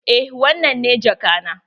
Eh wannan ne jaka na.